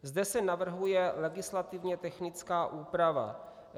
Zde se navrhuje legislativně technická úprava.